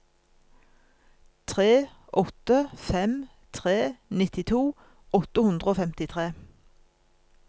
tre åtte fem tre nittito åtte hundre og femtitre